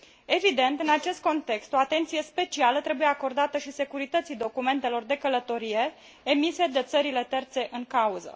Evident, în acest context o atenție specială trebuie acordată și securității documentelor de călătorie emise de țările terțe în cauză.